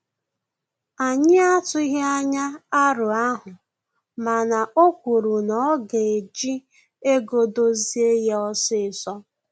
Anyị atughi anya arọ ahụ, mana o kwuru na oga eji ego dozie ya osisọ